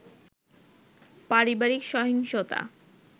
পারিবারিক সহিংসতা